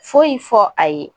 Foyi fɔ a ye